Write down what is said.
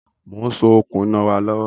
Mo ń so okùn iná wa lọ́wọ́